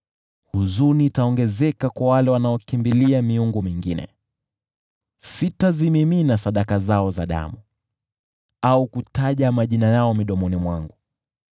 Huzuni itaongezeka kwa wale wanaokimbilia miungu mingine. Sitazimimina sadaka zao za damu au kutaja majina yao midomoni mwangu.